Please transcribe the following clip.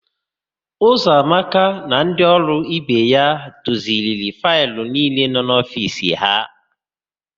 Ụzọamaka na ndị ọrụ ibe ya dozigharịrị faịlụ niile nọ n'ofiisi ha.